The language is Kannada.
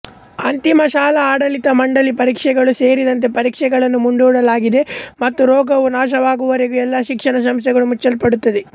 ಅಂತಿಮ ಶಾಲಾ ಆಡಳಿತ ಮಂಡಳಿ ಪರೀಕ್ಷೆಗಳು ಸೇರಿದಂತೆ ಪರೀಕ್ಷೆಗಳನ್ನು ಮುಂದೂಡಲಾಗಿದೆ ಮತ್ತು ರೋಗವು ನಾಶವಾಗುವವರೆಗೂ ಎಲ್ಲಾ ಶಿಕ್ಷಣ ಸಂಸ್ಥೆಗಳು ಮುಚ್ಚಲ್ಪಡುತ್ತವೆ